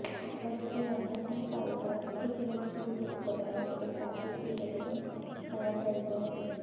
Adriana ਦੀ ਭਾਈਵਾਲ ਇੱਕ ਮਜ਼ਬੂਤ ਅੱਖਰ ਹਨ ਅਤੇ ਕਾਫ਼ੀ ਧੀਰਜ ਨੂੰ ਹੋਣਾ ਚਾਹੀਦਾ ਹੈ